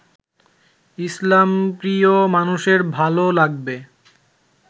ইসলামপ্রিয় মানুষের ভালো লাগবে